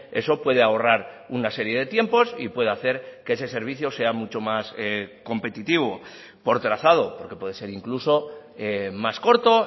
eso puede ahorrar una serie de tiempos y puede hacer que ese servicio sea mucho más competitivo por trazado porque puede ser incluso más corto